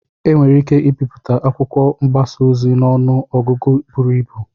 Enwere ike ibipụta akwụkwọ mgbasa ozi n'ọnụ ọgụgụ buru ibu.